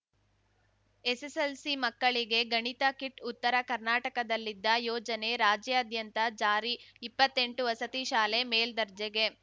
SSLC ಮಕ್ಕಳಿಗೆ ಗಣಿತ kit ಉತ್ತರ ಕರ್ನಾಟಕದಲ್ಲಿದ್ದ ಯೋಜನೆ ರಾಜ್ಯಾದ್ಯಂತ ಜಾರಿ ಇಪ್ಪತ್ತೆಂಟು ವಸತಿ ಶಾಲೆ ಮೇಲ್ದರ್ಜೆಗೆ